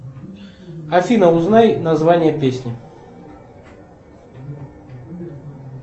афина узнай название песни